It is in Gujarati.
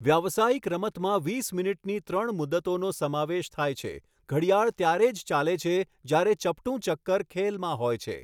વ્યાવસાયિક રમતમાં વીસ મિનીટની ત્રણ મુદતોનો સમાવેશ થાય છે, ઘડિયાળ ત્યારે જ ચાલે છે જ્યારે ચપટું ચક્કર ખેલમાં હોય છે.